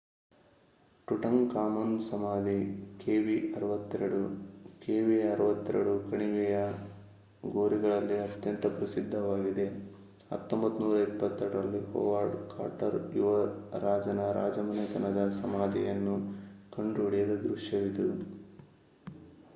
Tutankhamun ಸಮಾಧಿ kv62. kv62 ಕಣಿವೆಯ ಗೋರಿಗಳಲ್ಲಿ ಅತ್ಯಂತ ಪ್ರಸಿದ್ಧವಾಗಿದೆ 1922 ರಲ್ಲಿ ಹೊವಾರ್ಡ್ ಕಾರ್ಟರ್ ಯುವ ರಾಜನ ರಾಜಮನೆತನದ ಸಮಾಧಿಯನ್ನು ಕಂಡುಹಿಡಿದ ದೃಶ್ಯವಿದು